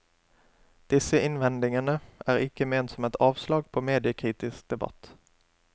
Disse innvendingene er ikke ment som et avslag på mediekritisk debatt.